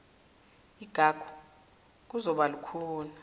igagu kuzokuba lukhuni